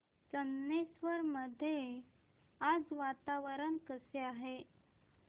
चंदनेश्वर मध्ये आज वातावरण कसे आहे